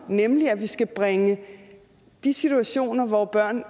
nemlig at vi skal bringe de situationer hvor børn